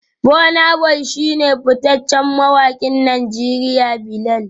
Burna boy shi ne fitaccen mawakin Najeriya Bilal